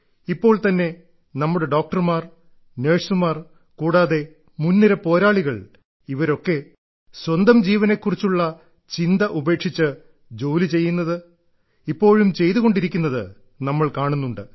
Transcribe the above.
ഇപ്പോൾതന്നെ നമ്മുടെ ഡോക്ടർമാർ നഴ്സുമാർ കൂടാതെ മുൻനിര പോരാളികൾ ഇവരൊക്കെ സ്വന്തം ജീവനെ കുറിച്ചുള്ള ചിന്ത ഉപേക്ഷിച്ച് ജോലി ചെയ്യുന്നത് ഇപ്പോഴും ചെയ്തു കൊണ്ടിരിക്കുന്നത് നമ്മൾ കാണുന്നുണ്ട്